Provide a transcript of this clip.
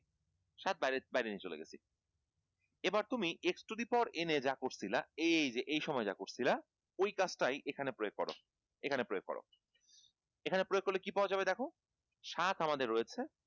সাত বাইরে বাইরে নিয়ে চলে গেছি এবার তুমি x to the power এ যা করছিলা এইযে এই সময় যা করছিলা ঐ কাজটাই এখানে প্রয়োগ কর এখানে প্রয়োগ কর এখানে প্রয়োগ করলে কী পাওয়া যাবে দেখ সাত আমাদের রয়েছে